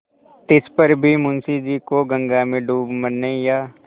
तिस पर भी मुंशी जी को गंगा में डूब मरने या